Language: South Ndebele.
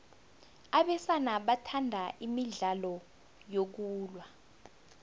abesana bathanda imidlalo yokulwa